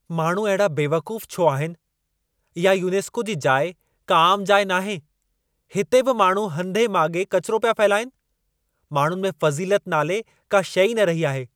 माण्हू अहिड़ा बेवक़ूफ़ छो आहिनि? इहा यूनेस्को जी जाइ, का आमु जाइ नाहे। हिते बि माण्हू हंधें माॻे कचरो पिया फहिलाइनि। माण्हुनि में फ़ज़ीलत नाले, का शइ ई न रही आहे।